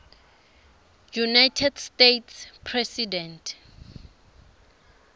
united states president